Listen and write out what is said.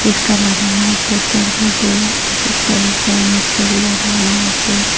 Poster লাগানো poster -গুলোতে একেকটা এক এক ধরনের ছবি লাগানো আছে।